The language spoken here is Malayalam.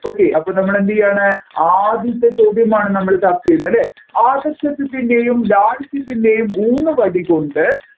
okay അപ്പോൾ നമ്മൾ എന്ത് ചെയ്യുയാണ് ആദ്യത്തെ ചോദ്യമാണ് നമ്മൾ ചർച്ചചെയ്യുന്നത് അല്ലെ ആദർശത്തത്തിന്റെയും ലാളിത്യത്തിൻ്റെയും ഊന്നു വടി കൊണ്ട്